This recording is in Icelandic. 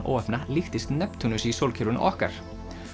óheppna líktist Neptúnusi í sólkerfinu okkar